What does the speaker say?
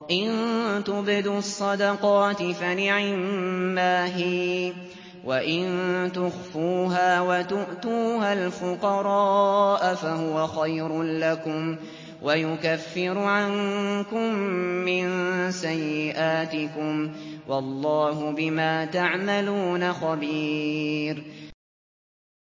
إِن تُبْدُوا الصَّدَقَاتِ فَنِعِمَّا هِيَ ۖ وَإِن تُخْفُوهَا وَتُؤْتُوهَا الْفُقَرَاءَ فَهُوَ خَيْرٌ لَّكُمْ ۚ وَيُكَفِّرُ عَنكُم مِّن سَيِّئَاتِكُمْ ۗ وَاللَّهُ بِمَا تَعْمَلُونَ خَبِيرٌ